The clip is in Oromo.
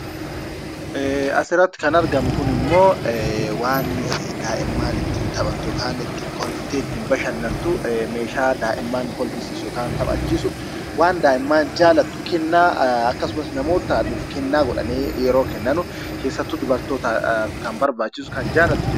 Asirratti kan argamu kunimmoo waan daa'imman ittiin taphattu yookaan immoo kolfitee ittiin bashannantu, meeshaa daa'imman kolfisiisu yookaan taphachiisu, waan daa'imman jaallattu kennaa akkasumas namootni kennaa godhanii yeroo kennanu, keessattuu dubartootaaf kan barbaachisu kan jaallattu jechuudha.